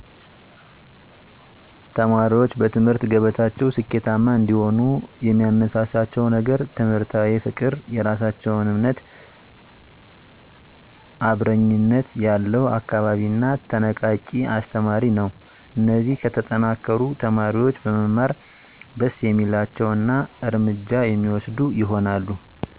ተማሪዎች በትምህርት ገበታቸው ስኬታማ እንዲሆኑ የሚያነሳሳቸው ነገር ትምህርታዊ ፍቅር፣ የራሳቸውን እምነት፣ አብረኝነት ያለው አካባቢ እና ተነቃቂ አስተማሪ ነው። እነዚህ ከተጠናከሩ፣ ተማሪዎች በመማር ደስ የሚላቸው እና እርምጃ የሚወስዱ ይሆናሉ።